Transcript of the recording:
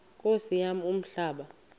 nkosi yam umhlaba